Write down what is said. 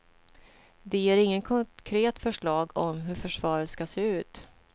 De ger inget konkret förslag om hur försvaret ska se ut.